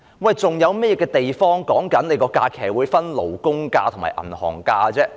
世界上還有甚麼地方的假期是分為勞工假期和銀行假期的？